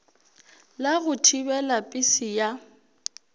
la go thibela pese ya